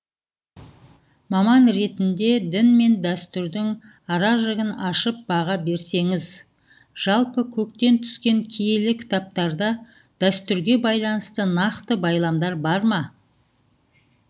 маман ретінде дін мен дәстүрдің аражігін ашып баға берсеңіз жалпы көктен түскен киелі кітаптарда дәстүрге байланысты нақты байламдар бар ма